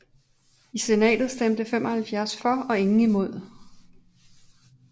I senatet stemte 75 for og ingen imod